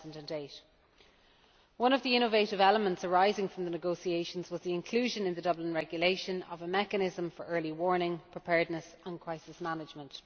2008. One of the innovative elements arising from the negotiations was the inclusion in the Dublin Regulation of a mechanism for early warning, preparedness and crisis management.